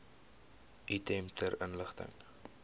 item ter inligting